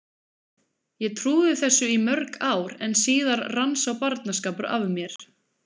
Ég trúði þessu í mörg ár en síðar rann sá barnaskapur af mér.